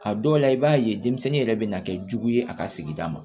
A dɔw la i b'a ye denmisɛnnin yɛrɛ bɛ na kɛ jugu ye a ka sigida ma